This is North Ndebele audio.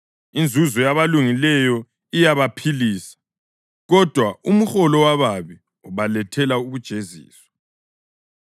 Inzuzo yabalungileyo iyabaphilisa, kodwa umholo wababi ubalethela ukujeziswa.